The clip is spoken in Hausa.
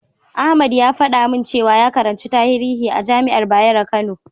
Ahmad ya faɗa min cewa ya karanci tarihi a jami'ar Bayero Kano.